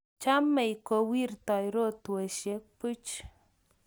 chomei kowirtoi rotwesiek puch